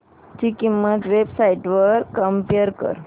ची किंमत websites वर कम्पेअर कर